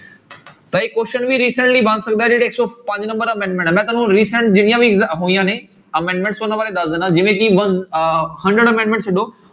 ਤਾਂ ਇੱਕ question ਵੀ recently ਬਣ ਸਕਦਾ ਹੈ ਜਿਹੜੇ ਇੱਕ ਸੌ ਪੰਜ number amendment ਹੈ ਮੈਂ ਤੁਹਾਨੂੰ recent ਜਿੰਨੀਆਂ ਵੀ ਹੋਈਆਂ ਨੇ amendments ਉਹਨਾਂ ਬਾਰੇ ਦੱਸ ਦਿਨਾ ਜਿਵੇਂ ਕਿ one ਅਹ hundred amendment ਛੱਡੋ,